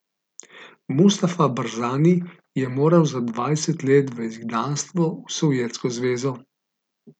Mustafa Barzani je moral za dvanajst let v izgnanstvo v Sovjetsko zvezo.